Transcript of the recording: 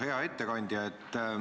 Hea ettekandja!